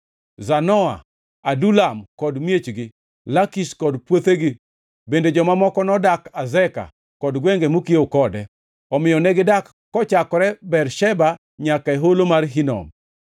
Zanoa, Adulam kod miechgi, Lakish kod puothegi, bende joma moko nodak Azeka kod gwenge mokiewo kode. Omiyo negidak kochakore Bersheba nyaka e Holo mar Hinom.